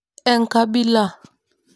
Enkabila?